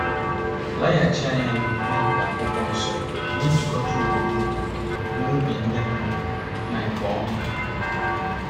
Laghachi anya na omume nke Akwụkwọ Nsọ na-ejikọta ugboro ugboro na obi dị mma na nke ọma.